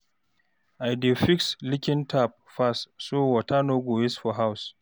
I dey fix leaking tap fast so water no go waste for house.